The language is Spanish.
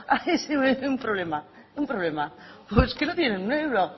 un problema un problema es que no tienen un euro